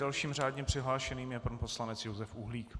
Dalším řádně přihlášeným je pan poslanec Josef Uhlík.